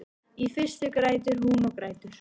Í fyrstu grætur hún og grætur.